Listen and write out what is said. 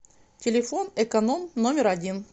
телефон эконом номер один